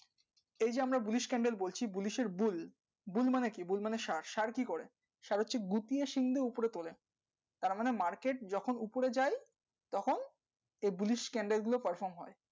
এই যে আমরা bullish candle বলছি bullish এর bull bull মানে কি bull মানে ষাঁড় ষাঁড় কি করে ষাঁড় হচ্ছে গুটিয়ে সিং দিয়ে উপরে তোলে তারমানে market যখনি উপরে যাই তখন এই bullish candle গুলি perform হয়